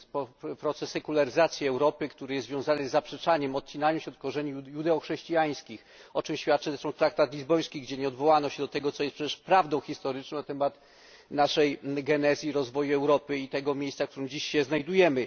Ma miejsce proces sekularyzacji Europy, który jest związany z zaprzeczaniem, odcinaniem się od korzeni judeo chrześcijańskich, o czym świadczy zresztą traktat lizboński, gdzie nie odwołano się do tego, co jest przecież prawdą historyczną na temat naszej genezy i rozwoju Europy i tego miejsca, w którym dziś się znajdujemy.